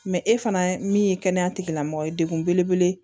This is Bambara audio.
e fana min ye kɛnɛya tigilamɔgɔ ye dekun belebele ye